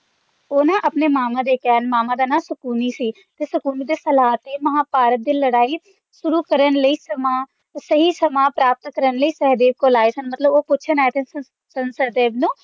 ਉਹ ਨਾ ਆਪਣੇ ਮਾਮਾ ਦੇ ਕਹਿਣ ਉਨ੍ਹਾਂ ਦੇ ਮਾਮਾ ਦਾ ਨਾਮ ਸ਼ਕੁਨੀ ਸੀ ਤੇ ਸ਼ਕੁਨੀ ਦੀ ਸਲਾਹ ਤੇ ਮਹਾਭਾਰਤ ਦੀ ਲੜਾਈ ਸ਼ੁਰੂ ਕਰਨ ਲਈ ਸਮਾਂ ਸਹੀ ਸਮਾਂ ਪ੍ਰਾਪਤ ਕਰਨ ਲਈ ਸਹਿਦੇਵ ਕੋਲ ਆਏ ਸਨ ਮਤਲਬ ਉਹ ਪੁੱਛਣ ਆਏ ਸਨ ਸਹਿਦੇਵ ਨੂੰ